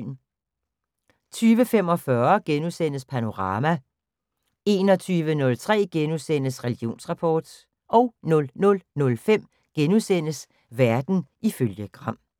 20:45: Panorama * 21:03: Religionsrapport * 00:05: Verden ifølge Gram *